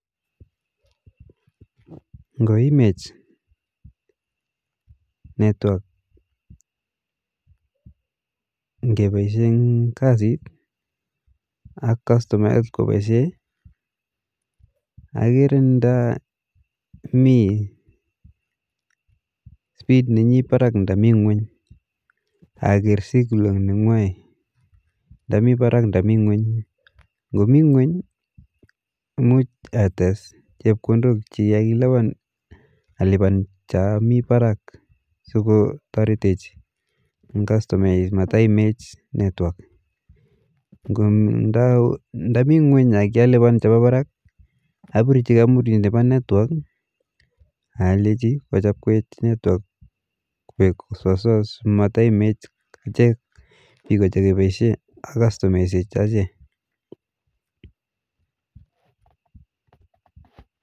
Ngoimech network ngepaishe eng kasi ,ak customayat kopaishe akere nda me speed neyi parak nda mi ngweny akaker signal ndamii parak nda mii ngweny, ngo mii ngweny muj ates chepkondok che kikailipan alipan cha mii parak sikotaretech eng customayek mataimech network ,nda mii ngweny ak kialipan che pa barak apirshi kampunit nepa network ak alechi kuchapwech network kuoek sosoa simataimet ache biko chekepaishe ak customaishek